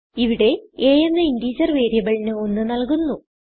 ഇവിടെ a എന്ന integer വേരിയബിളിന് 1 നല്കുന്നു